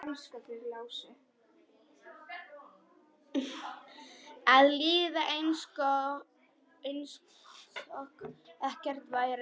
Að líða einsog ekkert væri.